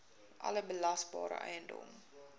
alle belasbare eiendom